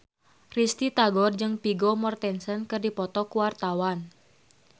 Risty Tagor jeung Vigo Mortensen keur dipoto ku wartawan